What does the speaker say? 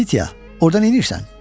Latitiya, orda nəyirsən?